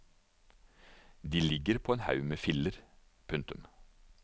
De ligger på en haug med filler. punktum